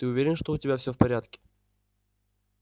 ты уверен что у тебя все в порядке